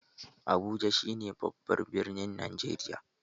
Abuja shi ne babban birnin Najeriya